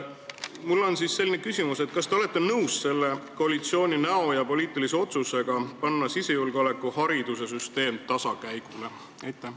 Mul on aga selline küsimus: kas te olete nõus selle koalitsiooni näo järgi tehtud poliitilise otsusega lülitada sisejulgeoleku haridussüsteem tasakäigule?